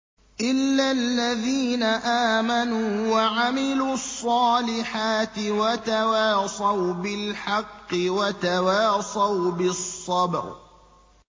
إِلَّا الَّذِينَ آمَنُوا وَعَمِلُوا الصَّالِحَاتِ وَتَوَاصَوْا بِالْحَقِّ وَتَوَاصَوْا بِالصَّبْرِ